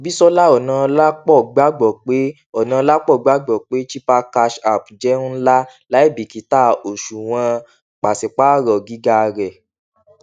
bisola onaolapo gbàgbọ pé onaolapo gbàgbọ pé chipper cash app jẹ nla láìbíkítà òṣùwọn pàṣípáàrọ gíga rẹ